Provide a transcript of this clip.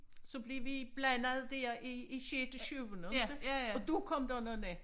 Så blev vi blandet der i i sjette syvende inte og der kom der nogle